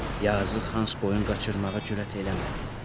Yazıq Hans boyun qaçırmağa cürət eləmədi.